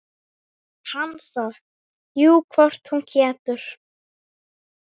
Hansa: Jú, hvort hún getur.